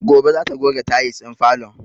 Gobe za ta goge tayis ɗin falon